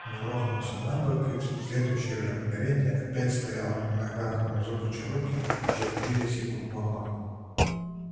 он грохнулся на бок и в следующее же мгновение опять стоял на ногах но зубы чероки же впились ему в горло